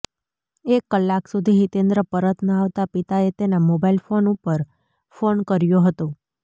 એક કલાક સુધી હિતેન્દ્ર પરત ન આવતા પિતાએ તેના મોબાઇલ ફોન ઉપર ફોન કર્યો હતો